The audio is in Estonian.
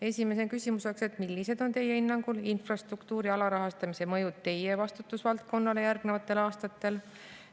Esimene küsimus: millised on teie hinnangul infrastruktuuri alarahastamise mõjud teie vastutusvaldkonnale järgnevatel aastatel?